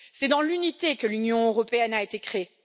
C'est dans l'unité que l'Union européenne a été créée